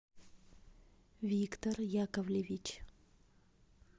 виктор яковлевич